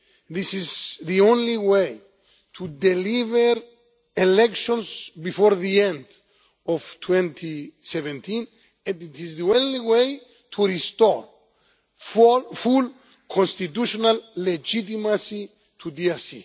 This is the only way to deliver elections before the end of 2017, and it is the only way to restore full constitutional legitimacy to DRC.